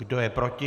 Kdo je proti?